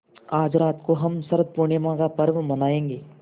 आज रात को हम शरत पूर्णिमा का पर्व मनाएँगे